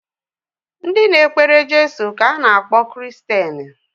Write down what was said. Ndị na-ekpere Jeso ka a na-akpọ Kiristeni